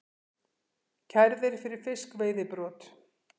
Kærðir fyrir fiskveiðibrot